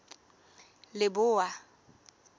leboa